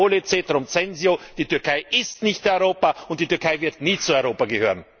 Ich wiederhole ceterum censeo Die Türkei ist nicht Europa und die Türkei wird nie zu Europa gehören!